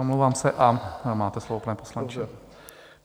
Omlouvám se a máte slovo, pane poslanče.